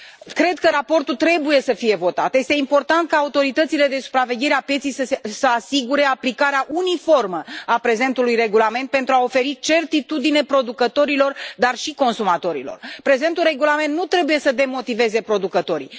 Cred că raportul trebuie să fie votat, este important ca autoritățile de supraveghere a pieței să asigure aplicarea uniformă a prezentului regulament pentru a oferi certitudine producătorilor, dar și consumatorilor. Prezentul regulament nu trebuie să demotiveze producătorii.